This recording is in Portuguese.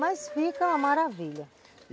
Mas fica uma maravilha.